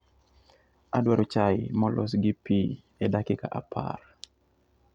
Adwaro chai molos gi pi e dakika apar.